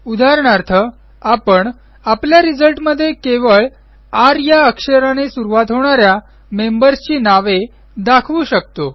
उदाहरणार्थ आपण आपल्या रिझल्टमध्ये केवळ र या अक्षराने सुरूवात होणा या मेंबर्सची नावे दाखवू शकतो